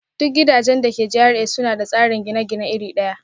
Duk gidajen da ke GRA suna da tsarin gine-gine iri ɗaya